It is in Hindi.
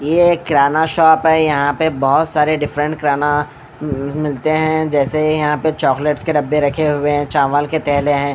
यह एक किराना शॉप है। यहां पे बहोत सारे डिफरेंट किराना मिलते हैं जैसे यहां पे चाकलेट्स के डब्बे रखे हुए हैं चावल के थैले हैं।